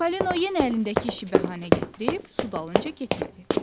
Çipollino yenə əlindəki işi bəhanə gətirib su dalınca getmədi.